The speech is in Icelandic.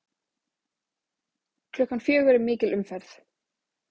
Klukkan fjögur er mikil umferð.